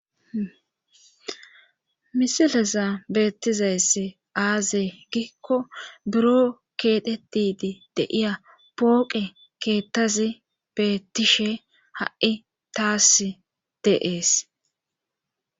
Misileza beettizayss aazey gikko buro keedhetidi deiya pooqe keettazi beettishe ha7i taas deees